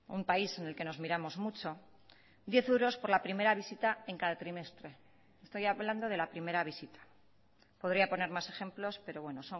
un país en el que nos miramos mucho diez euros por la primera visita en cada trimestre estoy hablando de la primera visita podría poner más ejemplos pero bueno